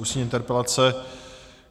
Ústní interpelace